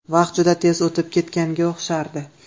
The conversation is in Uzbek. Vaqt juda tez o‘tib ketganga o‘xshardi.